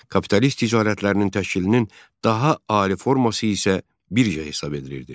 Kapitalist ticarətlərinin təşkilinin daha ali forması isə birja hesab edilirdi.